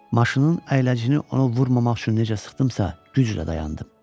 Maşının əyləcini ona vurmamaq üçün necə sıxdımsa, güclə dayandım.